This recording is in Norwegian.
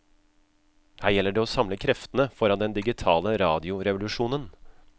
Her gjelder det å samle kreftene foran den digitale radiorevolusjonen.